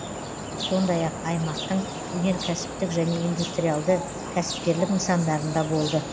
сондай ақ аймақтың өнеркәсіптік және индустриалды кәсіпкерлік нысандарында болды